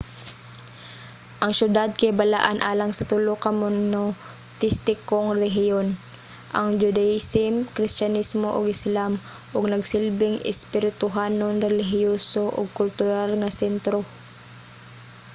ang siyudad kay balaan alang sa tulo ka monoteistikong relihiyon - ang judaism kristiyanismo ug islam ug nagsilbing espirituhanon relihiyoso ug kultural nga sentro